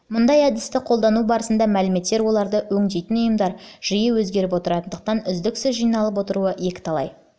мұндай әдісті қолдану барысында мәліметтер оларды өңдейтін ұйымдар жиі өзгеріп отыратындықтан үздіксіз жиналып отыруы екіталай мәселе